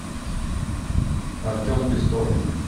артем пестов